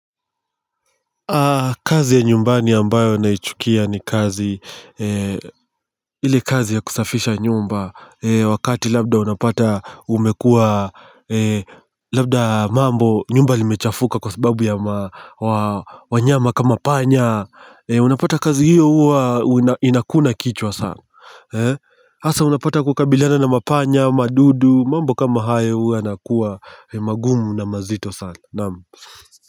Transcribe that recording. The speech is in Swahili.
Kazi ya nyumbani ambayo naichukia ni kazi ile kazi ya kusafisha nyumba wakati labda unapata umekua labda mambo nyumba imechafuka kwa sababu wanyama kama panya unapata kazi hiyo huwa inakuna kichwa sana hasa unapata kukabiliana na mapanya madudu mambo kama hayo huwa yanakuwa magumu na mazito sana.